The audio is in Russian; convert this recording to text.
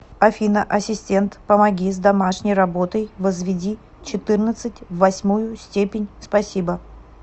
афина ассистент помоги с домашней работой возведи четырнадцать в восьмую степень спасибо